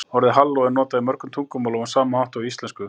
orðið halló er notað í mörgum tungumálum á sama hátt og í íslensku